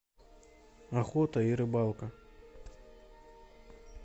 охота и рыбалка